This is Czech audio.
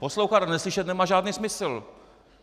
Poslouchat a neslyšet nemá žádný smysl.